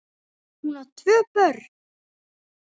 Hún á tvö börn.